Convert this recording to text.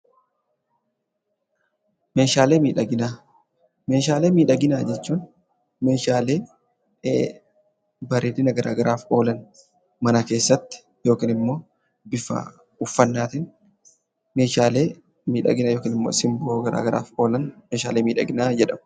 Meeshaalee miidhaginaa, meeshaalee miidhaginaa jechuun meeshaalee bareedina garaa garaaf oolan mana keessatti yookinimmoo bifa uffannaatiin meeshaalee miidhagina yookin immoo simboo garaa garaaf oolan meeshaalee miidhaginaa jedhamu.